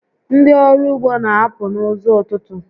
Ndị ọrụ ugbo n'apụ n'ụzọ ụtụtụ